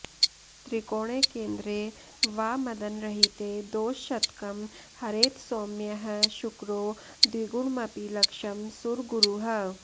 त्रिकोणे केन्द्रे वा मदनरहिते दोषशतकं हरेत्सौम्यः शुक्रो द्विगुणमपि लक्षं सुरगुरुः